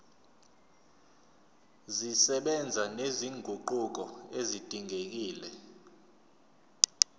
zisebenza nezinguquko ezidingekile